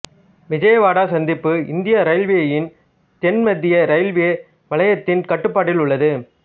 விஜயவாடா சந்திப்பு இந்திய இரயில்வேயின் தென்மத்திய ரயில்வே வலயத்தின் கட்டுப்பாட்டில் உள்ளது